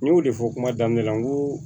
N y'o de fɔ kuma daminɛ la n ko